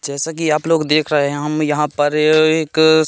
जैसा कि आप लोग देख रहे हैं हम यहां पर ये एक--